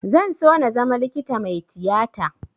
Zan so na zama likita mai tiyata